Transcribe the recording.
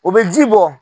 O bɛ ji bɔ